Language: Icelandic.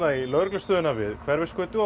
í lögreglustöðina við Hverfisgötu og